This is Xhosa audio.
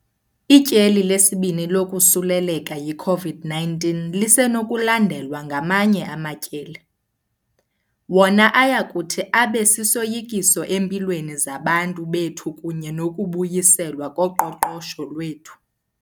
Ityeli lesibini lokosuleleka yi-COVID-19 lisenokulandelwa ngamanye amatyeli, wona ayakuthi abe sisoyikiso empilweni zabantu bethu kunye nokubuyiselwa koqoqosho lwethu.